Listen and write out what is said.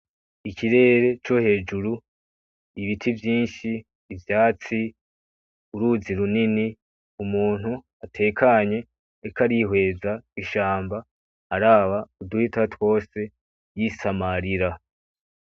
Ikirere co hejuru, ibiti vyinshi, ivyatsi, uruzi runini, umuntu atekanye ariko arihweza ishamba, araba uduhita twose, yisamarira.